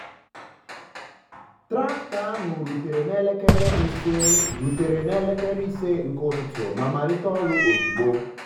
traktọ ahụ rutere n'elekere ise rutere n'elekere ise nke ụtụtụ ma malite ọrụ ozugbo.